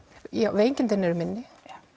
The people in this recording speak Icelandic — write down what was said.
veikindin eru minni